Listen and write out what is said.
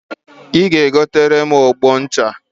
Ị ga-egotere m ogbo echi